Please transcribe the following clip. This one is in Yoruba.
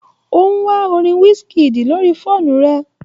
O ń wa orin wizkid lórí fóònù rẹ̀